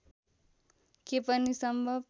के पनि सम्भव